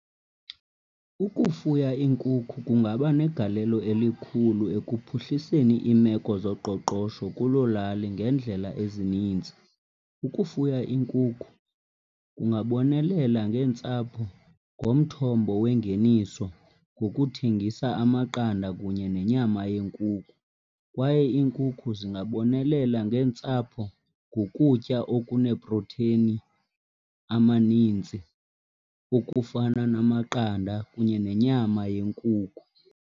Ukufuya iinkukhu kungaba negalelo elikhulu ekuphuhliseni iimeko zoqoqosho kuloo lali ngeendlela ezininzi. Ukufuya iinkukhu kungabonelela ngeentsapho ngomthombo wengeniso ngokuthengisa amaqanda kunye nenyama yenkukhu. Kwaye iinkukhu zingabonelela ngeentsapho ngokutya okunee-protein amanintsi ukufana namaqanda kunye nenyama yenkukhu.